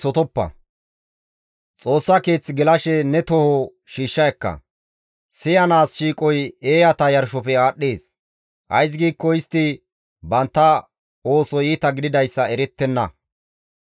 Xoossa Keeth gelashe ne toho shiishsha ekka; siyanaas shiiqoy eeyata yarshofe aadhdhees; ays giikko istti bantta oosoy iita gididayssa erettenna.